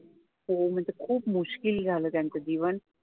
हो म्हणजे खूप मुश्किल झालं त्यांचं जीवन